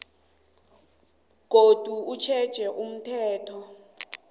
godu utjheja umthetho